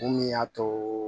Mun y'a too